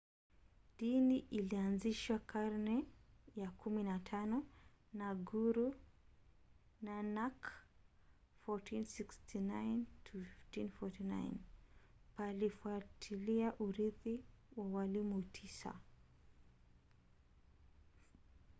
dini ilianzishwa karne ya 15 na guru nanak 1469-1539. palifuatilia urithi wa walimu tisa